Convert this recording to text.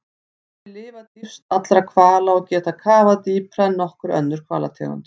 Þeir lifa dýpst allra hvala og geta kafað dýpra en nokkur önnur hvalategund.